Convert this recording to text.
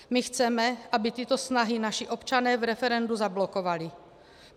My chceme, aby tyto snahy naši občané v referendu zablokovali.